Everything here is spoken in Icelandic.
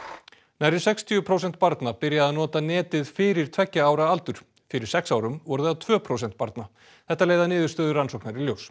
nærri sextíu prósent barna byrja að nota netið fyrir tveggja ára aldur fyrir sex árum voru það tvö prósent barna þetta leiða niðurstöður rannsóknar í ljós